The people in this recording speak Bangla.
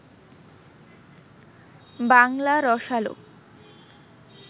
বাংলা রসালো